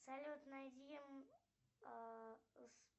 салют найди